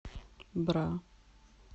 бра